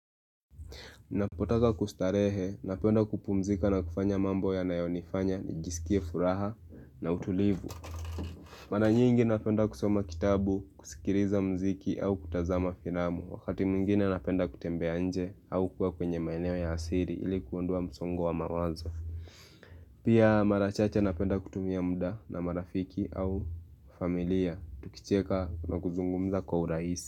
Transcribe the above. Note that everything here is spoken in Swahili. Napotaka kustarehe, napenda kupumzika na kufanya mambo ya nayonifanya, nijisikie furaha na utulivu Maranyingi napenda kusoma kitabu, kusikiriza mziki au kutazama firamu Wakati mwingine napenda kutembe nje au kuwa kwenye maeneo ya asiri ilikuondoa msongo wa mawazo Pia marachache napenda kutumia muda na marafiki au familia, tukicheka na kuzungumza kwa uraisi.